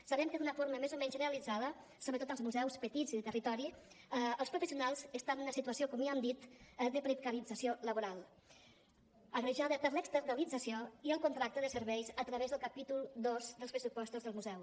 sabem que d’una forma més o menys generalitzada sobretot als museus petits i de territori els professionals estan en una situació com ja hem dit de precarització laboral agreujada per l’externalització i el contracte de serveis a través del capítol dos dels pressupostos del museu